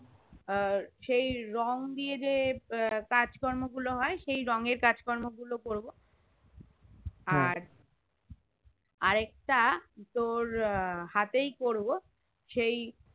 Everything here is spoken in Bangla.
সেই রং দিয়ে যে আহ কাজ কর্ম গুলো হয়ে সেই রং এর কাজ কর্ম গুলো করবো আর আরেকটা তোর আহ হাতেই করবো সেই